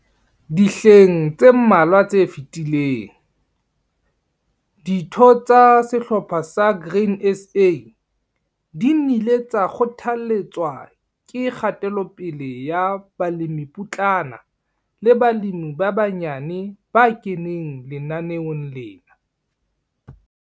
DIHLENG TSE MMALWA TSE FETILENG, DITHO TSA SEHLOPHA SA GRAIN SA DI NNILE TSA KGOTHALETSWA KE KGATELOPELE YA BALEMIPOTLANA LE BALEMI BA BANYANE BA KENENG LENANEONG LENA.